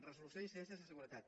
resolució d’incidències de seguretat